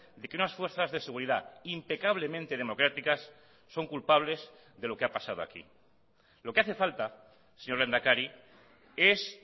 de que unas fuerzas de seguridad impecablemente democráticas son culpables de lo que ha pasado aquí lo que hace falta señor lehendakari es